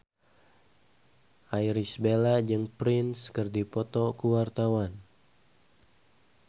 Irish Bella jeung Prince keur dipoto ku wartawan